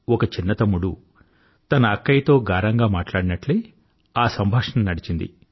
ఒక చిన్న తమ్ముడు తన అక్కయ్యతో గారంగా మాట్లాడినట్లే ఆ సంభాషణ నడిచింది